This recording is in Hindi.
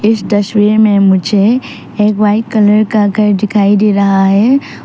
इस तस्वीर में मुझे एक वाइट कलर का घर दिखाई दे रहा है।